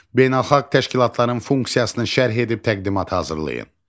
Beynəlxalq təşkilatların funksiyasını şərh edib təqdimat hazırlayın.